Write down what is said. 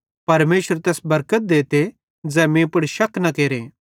परमेशर तैस बरकत देते ज़ै मीं पुड़ शक न केरे